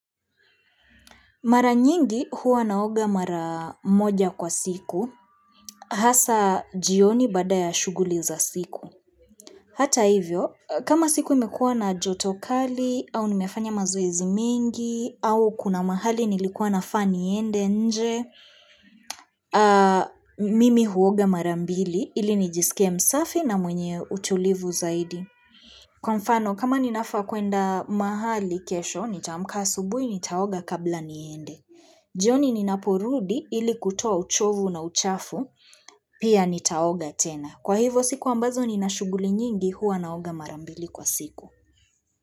Mara nyingi huwa naoga mara moja kwa siku, hasa jioni bada ya shughuli za siku. Hata hivyo, kama siku imekuwa na jotokali, au nimefanya mazoizi mingi, au kuna mahali nilikuwa na fani ende nje, mimi huoga mara mbili, ili nijisike msafi na mwenye utulivu zaidi. Kwa mfano, kama ninafa kuenda mahali kesho, nitaomka subui, nitaoga kabla niende. Jioni ni na porudi ili kutoa uchovu na uchafu, pia nitaoga tena. Kwa hivo siku ambazo ni na shughuli nyingi huwa naoga marambili kwa siku.